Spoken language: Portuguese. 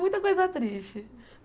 Muita coisa triste.